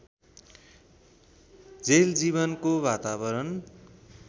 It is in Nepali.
जेल जीवनको वातावरण